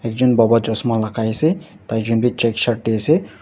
jun baba chashma lagai ase tai jun bhi checked shirt dae ase